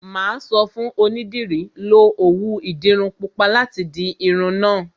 Mà á sọ fún onídìrí, 'Lo òwú ìdiru pupa láti di irun náà'